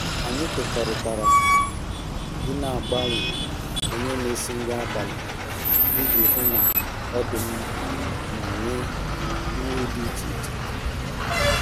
Anyị kwekọrịtara i n'agbanwe onye n'esi nri abalị iji hụ na ọ dị mma ma nwee nri dị iche iche